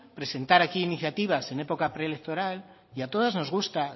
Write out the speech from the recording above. presentar aquí iniciativas en época preelectoral y a todas nos gusta